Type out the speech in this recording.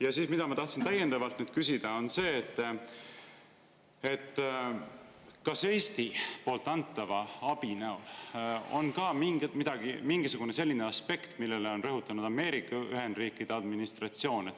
Ja see, mida ma tahtsin täiendavalt küsida: kas Eesti antava abi näol on ka mingisugune selline aspekt, mida on rõhutanud Ameerika Ühendriikide administratsioon?